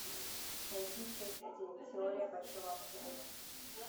найти часть один теория большого взрыва